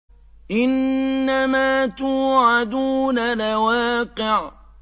إِنَّمَا تُوعَدُونَ لَوَاقِعٌ